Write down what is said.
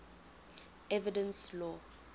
evidence law